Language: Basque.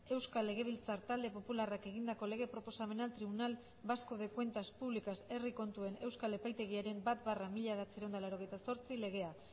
euskal legebiltzar talde popularrak egindako lege proposamena tribunal vasco de cuentas públicas herri kontuen euskal epaitegiaren bat barra mila bederatziehun eta laurogeita zortzi legea